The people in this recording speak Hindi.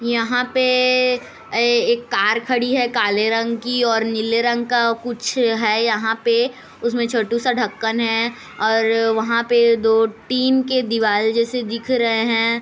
यहाँ पे इ एक कार खड़ी है काले रंग की और नीले रंग का कुछ है यहाँ पे उसमे छोटू सा ढंकन है और वहा पे दो टीन की दीवाल जैसे दिख रहे है।